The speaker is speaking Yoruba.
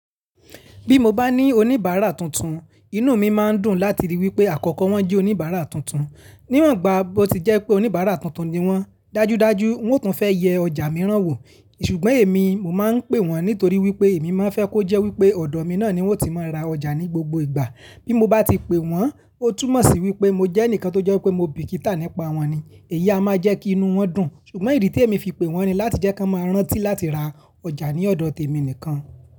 Bí mo bá ní oníbàárà tuntun, inú mi máa ń dùn láti rí wípé àkọ́kọ́ wọ́n jẹ́ oníbàárà tuntun. Níwọ̀n gbàá bó ti jẹ́ pé oníbàárà tuntun ni wọ́n, dájúdájú wọn tún fẹ́ yẹ ọjà mìíràn wò. Ṣùgbọ́n èmi, mo máa ń pè wọ́n nítorí wípé èmi máa fẹ́ kó jẹ́ wípé ọ̀dọ̀ mi náà ni wọ́n ti máa ń ra ọjà ní gbogbo ìgbà. Bí mo bá ti pe wọ́n, ó túmọ̀ sí wípé mo jẹ́ ẹnìkan tó jẹ́ wípé mo bìkítà nípa wọn ni. Èyí a máa jẹ́ kí inú wọn dùn. Ṣùgbọ́n ìdí tí èmi fi pè wọ́n ni láti jẹ́ kí wọ́n máa rántí láti ra ọjà ní ọ̀dọ̀ tèmi nìkan.